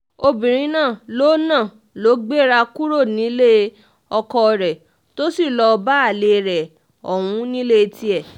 obìnrin náà ló náà ló gbéra kúrò nílé ọkọ rẹ̀ tó sì lọ́ọ́ bá alẹ́ rẹ̀ ọ̀hún nílé tiẹ̀